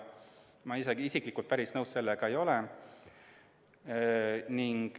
Ma ise sellega päris nõus ei ole.